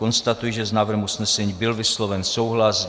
Konstatuji, že s návrhem usnesení byl vysloven souhlas.